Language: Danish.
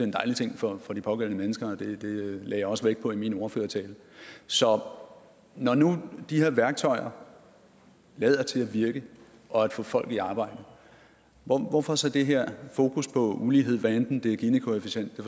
en dejlig ting for for de pågældende mennesker og det lagde jeg også vægt på i min ordførertale så når nu de her værktøjer lader til at virke og få folk i arbejde hvorfor så det her fokus på ulighed hvad enten det er ginikoefficienten